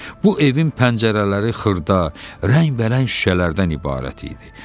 Bu evin pəncərələri xırda, rəngbərəng şüşələrdən ibarət idi.